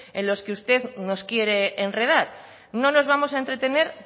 en los que usted nos quiere enredar no nos vamos a entretener